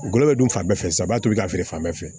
Golo bɛ dun fan bɛɛ fɛ sanba to i ka feere fan bɛɛ fɛ